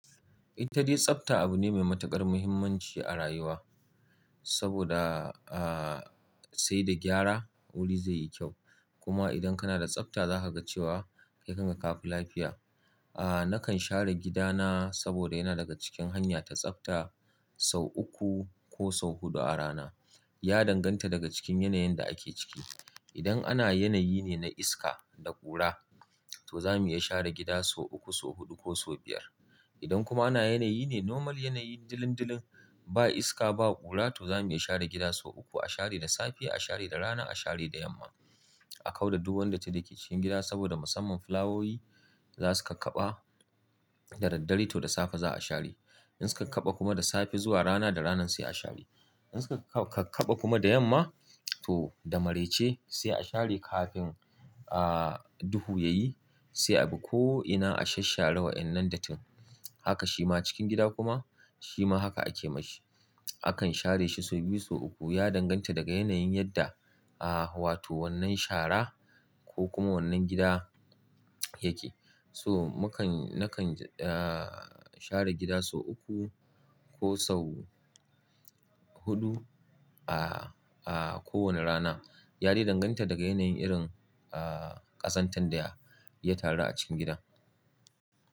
Itade tsafta abu ne mai matuƙar muhimmanci a rayuwa, saboda, sai da gyara wuri zai yi kyau. Kuma idan kana da tsafta za ka ga cewa kai kanka ka fi lafiya. Nakan share gidana saboda yana daga cikin hanya ta tsafta sau uku ko sau huɗu a rana. Ya danganta daga cikin yanayin da ake ciki. Idan ana yanayi ne na iska da ƙura, to zamu iya share gida sau uku, sau huɗu ko sau biyar. Idan kuma ana yanayi ne normal yanayi dilin-dilin ba iska, ba ƙura, to zamu iya share gida sau uku. A share da safe, a share da rana, a share da yamma. A kau da duk wanda ta rike cikin gida saboda musamman fulawowi za su kakkaɓa da daddare, to da safe za a share. In suka kaɓa kuma da safe zuwa rana, da rana sai a share. In suka kakkaɓa kuma da yamma, to da maraice sai a share kafin, duhu ya yi. Sai abu ko'ina a sashen rawa in nan da tim. Haka shi ma cikin gida kuma, shi ma haka ake ma shi. Akan share shi sau biyu, sau uku. Ya danganta daga yanayin yadda, wato wannan shara ko kuma wannan gida yake. So mukan nakan, share gida sau uku ko sau huɗu, kowane rana. Ya dai danganta daga yanayin irin, ah, ƙazantar da ya taru a cikin gidan.